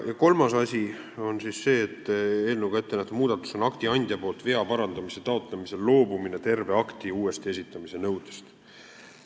Kolmas eelnõuga ettenähtud muudatus on akti andja poolt vea parandamise taotlemisel loobumine terve akti uuesti esitamise nõudest.